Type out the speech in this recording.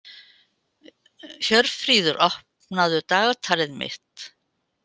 Hjörfríður, opnaðu dagatalið mitt.